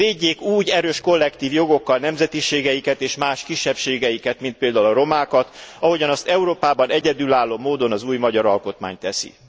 Védjék úgy erős, kollektív jogokkal nemzetiségeiket és más kisebbségeiket, mint például a romákat, ahogyan azt Európában egyedülálló módon az új magyar alkotmány teszi!